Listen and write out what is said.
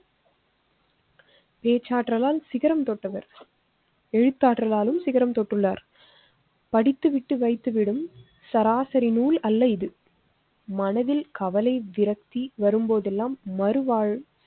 பேச்சாற்றாலால் சிகரம் தொட்டவர். எழுத்தாளர்களாலும் சிகரம் தொட்டுள்ளார். படித்து விட்டு வைத்து விடும் சராசரி நூல்அல்ல இது. மனதில் கவலை விரக்தி வரும்போதெல்லாம் மறுவாழ்வு